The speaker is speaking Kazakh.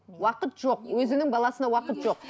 уақыт жоқ өзінің баласына уақыт жоқ